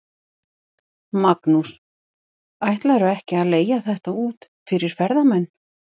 Magnús: Ætlarðu ekki að leigja þetta út fyrir ferðamenn?